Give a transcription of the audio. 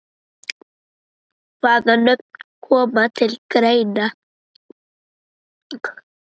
Hvaða nöfn koma til greina?